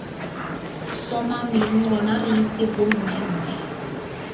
sssoomamang rona re itse bommemme